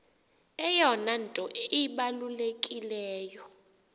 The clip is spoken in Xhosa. eyona nto ibalulekileyo